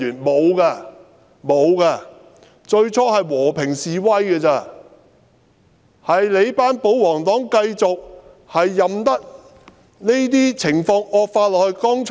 沒有，最初只有和平示威，只是那些保皇黨任由情況繼續惡化。